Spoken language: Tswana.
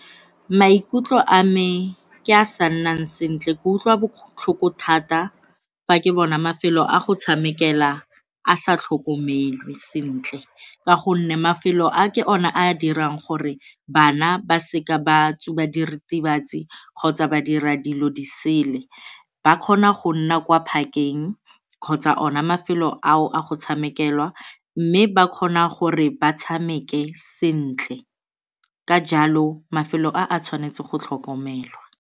Maikutlo a me ke a a sa nnang sentle, ke utlwa botlhoko thata fa ke bona mafelo a go tshamekelwa a sa tlhokomelwa sentle ka gonne mafelo a ke ona a dirang gore bana ba seka ba tsuba diritibatsi kgotsa ba dira dilo di sele. Ba kgona go nna kwa park-eng kgotsa ona mafelo ao a go tshamekela mme ba kgona gore ba tshameke sentle, ka jalo mafelo a a tshwanetse go tlhokomelwa.